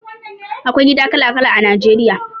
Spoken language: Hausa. Akwai gida kala kala a Nigeria